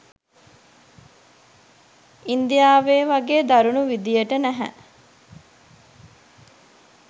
ඉන්දියාවේ වගේ දරුණු විධියට නැහැ.